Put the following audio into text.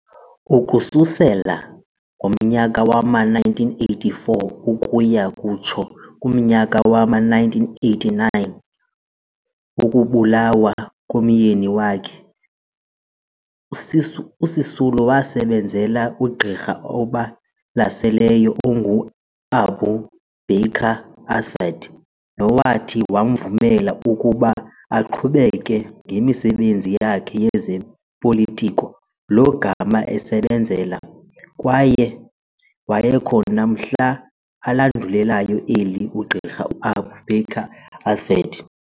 Ukususela ngomnyaka wama-1984 ukuya kutsho kumnyaka wama-1989 wokubulawa komyeni wakhe, uSisulu wasebenzela uGqirha obalaseleyo onguAbu Baker Asvat nowathi wamvumela ukuba aqhubekeke ngemisebenzi yakhe yezopolitiko lo gama esebenzela, kwaye wayekhona mhla alandulelayo eli uGqirha uAbu Baker Asvat.